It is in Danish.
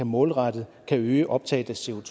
målrettet kan øge optaget